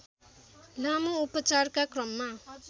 लामो उपचारका क्रममा